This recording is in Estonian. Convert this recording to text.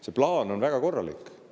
See plaan on väga korralik.